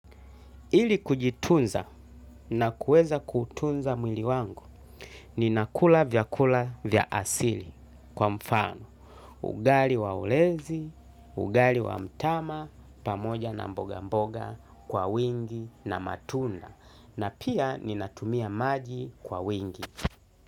Ili kujitunza na kuweza kutunza mwili wangu, ninakula vyakula vya asili kwa mfano. Ugali wa ulezi, ugali wa mtama, pamoja na mboga mboga kwa wingi na matunda. Na pia ninatumia maji kwa wingi.